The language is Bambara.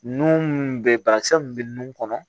Nun minnu bɛ banakisɛ mun be nun kɔnɔ